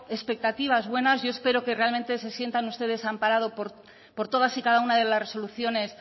expectativas buenas yo espero que realmente se sientan ustedes amparados por todas y cada una de las resoluciones